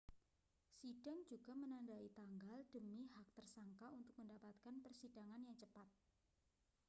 sidang juga menandai tanggal demi hak tersangka untuk mendapatkan persidangan yang cepat